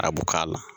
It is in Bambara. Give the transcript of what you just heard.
A b'o k'a la